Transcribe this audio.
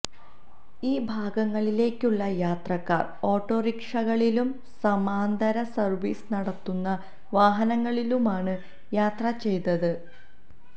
ഈ ഭാഗങ്ങളിലേക്കുള്ള യാത്രക്കാർ ഓട്ടോറിക്ഷകളിലും സമാന്തര സർവീസ് നടത്തുന്ന വാഹനങ്ങളിലുമാണ് യാത്ര ചെയ്തത്